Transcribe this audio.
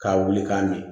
K'a wuli k'a min